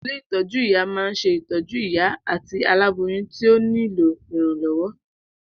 Ilé ìtọ́jú-ìyá ma ń se ìtọ́jú ìyá àti alábóyun tí ó ní lò ìrànlọ́wọ́.